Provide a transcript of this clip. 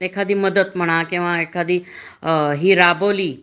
एखादी मदत म्हणा किंवा एखादी हि राबवली